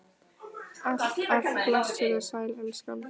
Alt af blessuð og sæl, elskan!